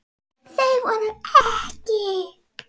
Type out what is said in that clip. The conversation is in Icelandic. Þau voru EKKI.